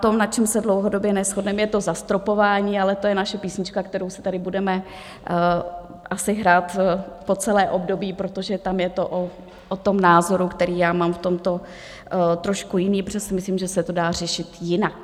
To, na čem se dlouhodobě neshodneme, je to zastropování, ale to je naše písnička, kterou si tady budeme asi hrát po celé období, protože tam je to o tom názoru, který já mám v tomto trošku jiný, protože si myslím, že se to dá řešit jinak.